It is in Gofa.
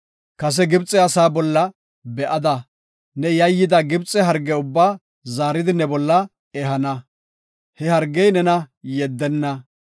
Kase Gibxe asaa bolla be7ada, ne yayyida Gibxe harge ubbaa zaaridi ne bolla ehana; he hargey nena yeddenna.